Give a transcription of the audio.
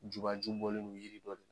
Juba ju bɔlen do yiri dɔ